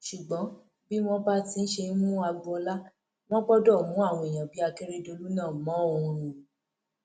ṣùgbọn bí wọn bá ti ṣe ń mú agboola wọn gbọdọ mú àwọn èèyàn bíi akérèdọlù náà mọ ọn o